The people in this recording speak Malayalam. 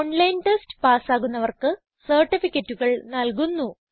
ഓൺലൈൻ ടെസ്റ്റ് പാസ് ആകുന്നവർക്ക് സർട്ടിഫിക്കറ്റുകൾ നല്കുന്നു